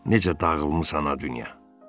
Necə dağılmısan a dünya.